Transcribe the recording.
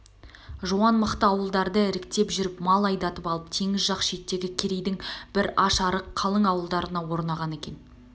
жуан мықты ауылдарды іріктеп жүріп мал айдатып алып теңіз жақ шеттегі керейдің бір аш-арық қалың ауылдарына орнаған екен